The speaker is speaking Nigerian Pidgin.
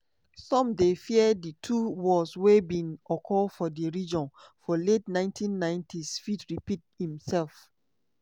some dey fear di two wars wey bin occur for di region for late 1990s fit repeat imsef.